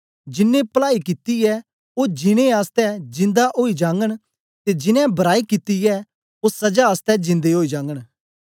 जिन्नें पलाई कित्ती ऐ ओ जीनें आसतै जिंदा ओई जागन ते जिन्नें बराई कित्ती ऐ ओ सजा आसतै जिंदे ओई जागन